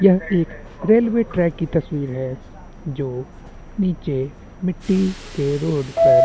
यह एक railway track कि तस्वीर है जो नीचे मिट्टी के रोड पर --